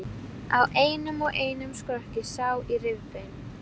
Æti þeirra voru akörn og ávextir af trjánum.